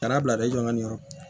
Kana bila dɛ i jɔ ka nin yɔrɔ